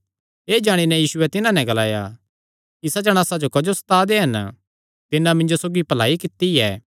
एह़ जाणी नैं यीशुयैं तिन्हां नैं ग्लाया इसा जणासा जो क्जो सता दे हन तिन्नै मिन्जो सौगी भलाई कित्ती ऐ